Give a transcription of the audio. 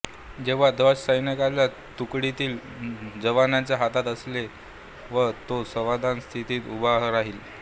जेव्हा ध्वज सैन्याच्या तुकडीतील जवानाच्या हातात असेल व तो सावधान स्थितीत उभा राहिल